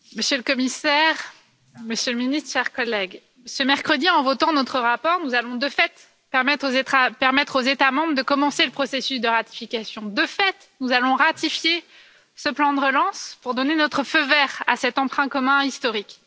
Monsieur le Président, Monsieur le Commissaire, Monsieur le Ministre, chers collègues, ce mercredi, en votant notre rapport, nous allons de fait permettre aux États membres de commencer le processus de ratification. De fait, nous allons ratifier ce plan de relance pour donner notre feu vert à cet emprunt commun historique.